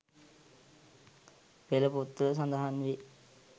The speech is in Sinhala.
පෙළ පොත්වල සඳහන් වේ.